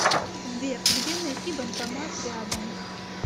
сбер где найти банкомат рядом